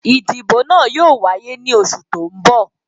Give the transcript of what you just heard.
Ìbò náà yóò wáyé ní oṣù tó n bọ̀